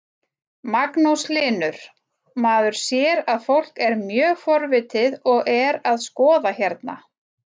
Magnús Hlynur: Maður sér að fólk er mjög forvitið og er að skoða hérna?